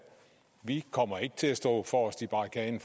vi kommer ikke til at stå forrest i barrikaden